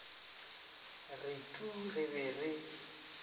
re tuu re be re